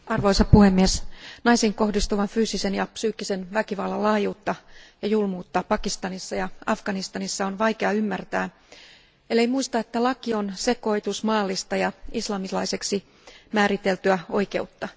Arvoisa puhemies, naisiin kohdistuvan fyysisen ja psyykkisen väkivallan laajuutta ja julmuutta Pakistanissa ja Afganistanissa on vaikea ymmärtää, ellei muista, että laki on sekoitus maallista ja islamilaiseksi määriteltyä oikeutta.